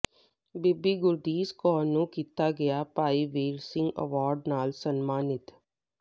ਬੀਬੀ ਗੁਰਦੀਸ਼ ਕੌਰ ਨੂੰ ਕੀਤਾ ਗਿਆ ਭਾਈ ਵੀਰ ਸਿੰਘ ਅਵਾਰਡ ਨਾਲ ਸਨਮਾਨਿਤ